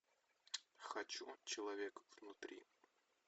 хочу человек внутри